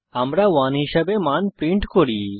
আমরা 1 হিসাবে মান প্রিন্ট করি